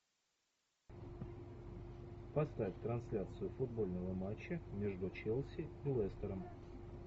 поставь трансляцию футбольного матча между челси и лестером